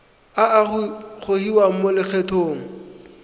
a a gogiwang mo lokgethong